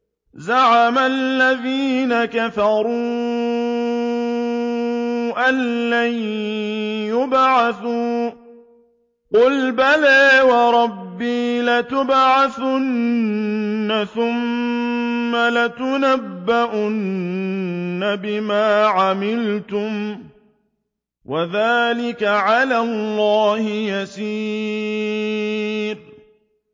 زَعَمَ الَّذِينَ كَفَرُوا أَن لَّن يُبْعَثُوا ۚ قُلْ بَلَىٰ وَرَبِّي لَتُبْعَثُنَّ ثُمَّ لَتُنَبَّؤُنَّ بِمَا عَمِلْتُمْ ۚ وَذَٰلِكَ عَلَى اللَّهِ يَسِيرٌ